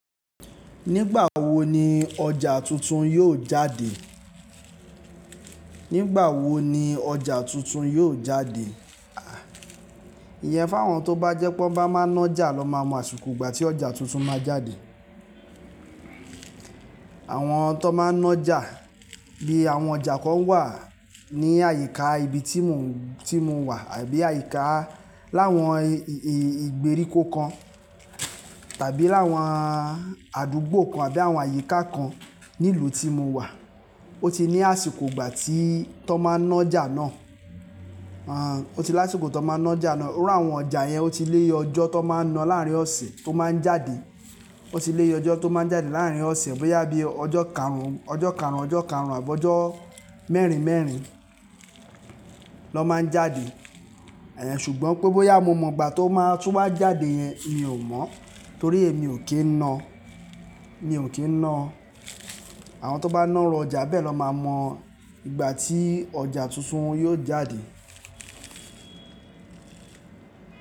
Nígbà wo ni ọjà tuntun yóò jáde? Nígbà wo ni ọjà tuntun yóò jáde? Ìyẹn fáwọn tó bá jẹ́ pé wọ́n bá máa ń nájà lọ máa mọ àsìkò ìgbà tí ọjà tuntun máa jáde. Àwọn tó máa ń nájà bí i àwọn ọjà kan wà ní àyíká ibi tí mò ń, tí mo wà àbí àyíká láwọn ìgbèríko kan tàbí láwọn àdúgbò kan àbí àwọn àyíká kan ní ìlú tí mo wà, ó ti ní àsìkò ìgbà tí tọ́ máa ń nájà náà, ó ti ní àsìkò tó máa ń nájà náà. Iru áwọn ọjà yẹn ó ti lé ọjọ́ tó máa ń na láàárín ọ̀sẹ̀ tó máa ń jáde. Ó ti lé ìye ọjọ́ tó máa ń jáde láàárín ọ̀sẹ̀ bóyá bíi ọjọ́ karùn ún, ọjọ́ karùn ún, ọjọ́ karùn ún àbọ́ ọjọ́ mẹ́rin mẹ́rin ló máa ń jáde. Ṣùgbọ́n pé bóyá mo mọ ìgbà tó máa, tó bá jáde yẹn, mi ò mọ, torí mi ò kí ń ná, mi ò kí ń ná. Àwọn tó bá ná iru ọjà bẹ́ẹ̀ lọ máa mọ ìgbà tí ọjà tuntun yóò jáde.